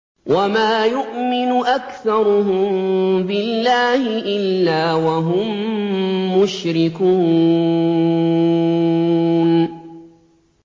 وَمَا يُؤْمِنُ أَكْثَرُهُم بِاللَّهِ إِلَّا وَهُم مُّشْرِكُونَ